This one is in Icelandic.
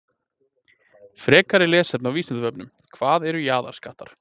Frekara lesefni á Vísindavefnum: Hvað eru jaðarskattar?